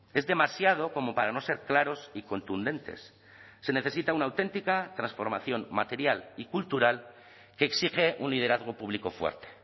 es demasiado como para no ser claros y contundentes se necesita una auténtica transformación material y cultural que exige un liderazgo público fuerte